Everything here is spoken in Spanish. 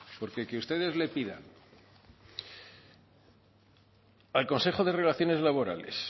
porque que ustedes le pidan al consejo de relaciones laborales